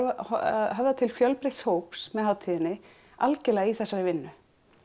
höfða til fjölbreytts hóps með hátíðinni algjörlega í þessari vinnu